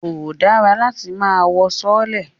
Kò dára láti máa wọ sọọ́lẹ̀